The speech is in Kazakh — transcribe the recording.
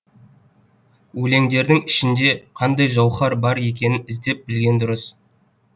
өлеңдердің ішінде қандай жауһар бар екенін іздеп білген дұрыс